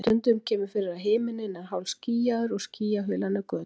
En stundum kemur fyrir að himinninn er hálfskýjaður og skýjahulan er götótt.